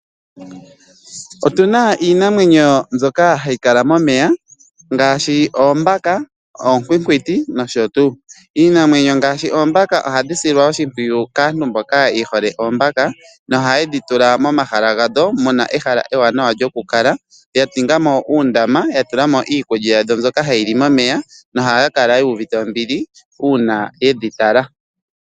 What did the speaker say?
Otuna iinamwenyo mbyoka hayi kala momeya ngaashi oombaka, oonkwinkwiti nosho tuu. Iinamwenyo ngaashi oombaka ohadhi silwa oshimpwiyu kaantu mboka ye hole oombaka noha yedhi tula momahala gadho muna ehala ewaanawa lyoku kala, ya tula mo uundama, ya tula mo iikulya yazo mbyoka hayi li momeya nohaya kala yu uvite ombili, uuna yedhi tala.